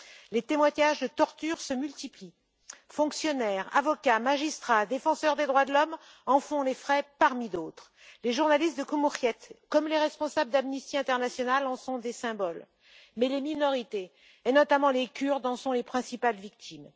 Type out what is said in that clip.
Les témoignages de tortures se multiplient fonctionnaires, avocats, magistrats, défenseurs des droits de l'homme en font les frais parmi d'autres. Les journalistes de Cumhuriyet comme les responsables d' Amnesty International en sont des symboles, mais les minorités, et notamment les Kurdes, en sont les principales victimes.